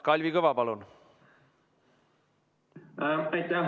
Kalvi Kõva, palun!